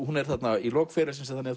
hún er þarna í lok ferils síns og